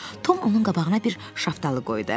Tom onun qabağına bir şaftalı qoydu.